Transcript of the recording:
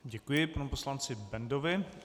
Děkuji panu poslanci Bendovi.